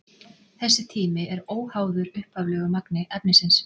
Þessi tími er óháður upphaflegu magni efnisins.